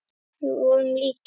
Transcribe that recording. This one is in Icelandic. Við vorum líkir.